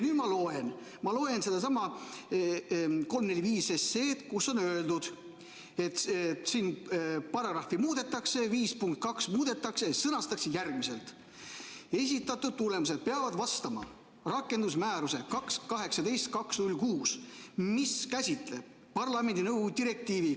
Nüüd ma loen sedasama eelnõu 345, kus on öeldud, et paragrahvi 5 punkt 2 muudetakse ja sõnastatakse järgmiselt: esitatud tulemused peavad vastama komisjoni rakendusmääruses 2018/2066, mis käsitleb Euroopa Parlamendi ja nõukogu direktiivi ...